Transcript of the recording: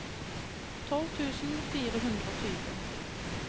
tolv tusen fire hundre og tjue